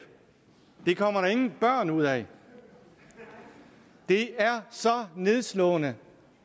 det kommer der ingen børn ud af det er så nedslående